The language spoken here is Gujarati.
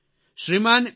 શ્રીમાન એસ